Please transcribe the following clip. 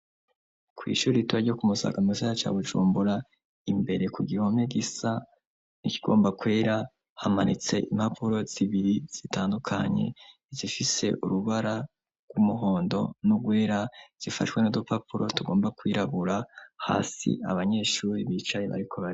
ku ishuri itura ryo ku musaga mu gisagara ca bujumbura, imbere ku gihome gisa ni kigomba kwera, hamanitse impapuro zibiri zitandukanye, zifise urubara rw'umuhondo n'ugwera, zifashwe n'udupapuro tugomba kwirabura hasi abanyeshuri bicaye bariko bariga.